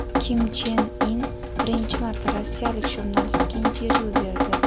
Kim Chen In birinchi marta rossiyalik jurnalistga intervyu berdi.